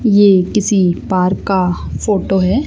ये किसी पार्क का फोटो है।